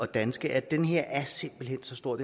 danskere den her aftale er simpelt hen så stor